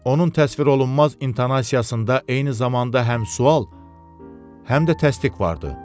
Onun təsvir olunmaz intonasiyasında eyni zamanda həm sual, həm də təsdiq vardı.